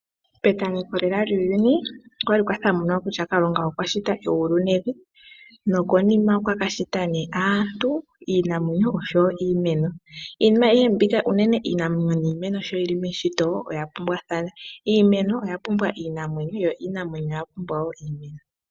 Petameko lela lyuuyuni opwa li pwa thamuna kutya Kalunga okwa shita egulu nevi nokonima okwa ka shita aantu, iinamwenyo noshowo iimeno. Iinima ayihe mbika shi yi li meshito oya pumbwathana. Iimeno oya pumbwa iinamwenyo yo iinamwenyo oya pumbwa wo iimeno.